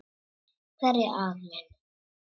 Hverjir aðrir?